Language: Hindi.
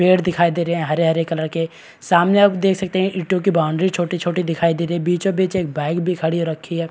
पेड़ दिखाई दे रहे हैं हरे-हरे कलर के सामने आप देख सकते है ईटों की बाउंड्री छोटी-छोटी दिखाई दे रही है बीचो-बीच एक बाइक भी खड़ी रखी है।